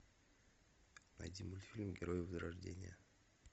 найди мультфильм герои возрождение